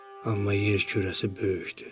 Amma yer kürəsi böyükdür.